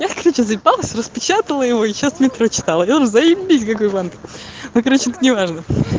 я короче заебалась распечатала его сейчас не прочитал и он заебись как его ну короче не важно